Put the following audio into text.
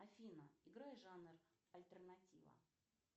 афина играй жанр альтернатива